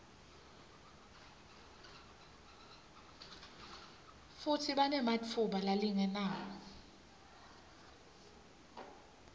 futsi banematfuba lalinganako